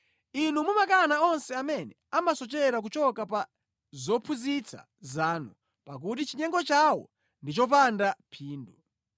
Inu mumakana onse amene amasochera kuchoka pa zophunzitsa zanu, pakuti chinyengo chawo ndi chopanda phindu.